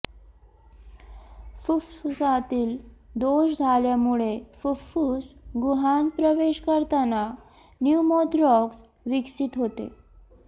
फुफ्फुसातील दोष झाल्यामुळे फुफ्फुस गुहांत प्रवेश करताना न्युमोथेरॅक्स विकसित होते